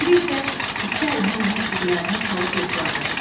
O biri isə iki əlini onun ciblərinə salıb yoxladı.